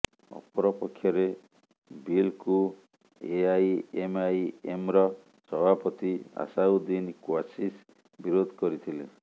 ଅପରପକ୍ଷରେ ବିଲ୍କୁ ଏଆଇଏମ୍ଆଇଏମ୍ର ସଭାପତି ଆସାଉଦ୍ଦିିନ୍ କ୍ୱାସିସ୍ ବିରୋଧ କରିଥିଲେ